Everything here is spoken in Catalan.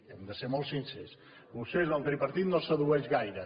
hem de ser molt sincers vostès el tripartit no sedueix gaire